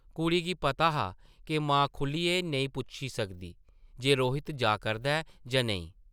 कुड़ी गी पता हा’क मां खुʼल्लियै नेईं पुच्छी सकदी जे रोहित जा करदा ऐ जां नेईं ।